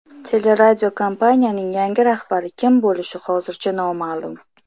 Teleradiokompaniyaning yangi rahbari kim bo‘lishi hozircha noma’lum.